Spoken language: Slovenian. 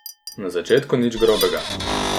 Na začetku nič grobega.